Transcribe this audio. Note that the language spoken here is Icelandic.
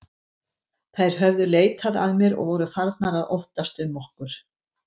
Þær höfðu leitað að mér og voru farnar að óttast um okkur.